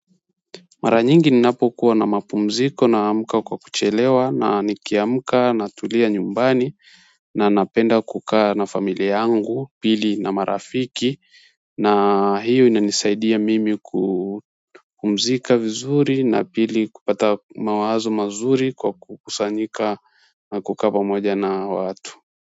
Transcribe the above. Mara nyingi ninapo kuwa na mapumziko na amka kwa kuchelewa na nikiamka natulia nyumbani na napenda kukaa na familia yangu pili na marafiki na hiyo inanisaidia mimi kupumzika vizuri na pili kupata mawazo mazuri kwa kukusanyika na kukaa pamoja na watu.